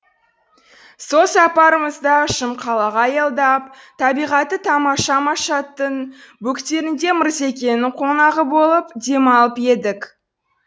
сол сапарымызда шымқалаға аялдап табиғаты тамаша машаттың бөктерінде мырзекеңнің қонағы болып демалып едік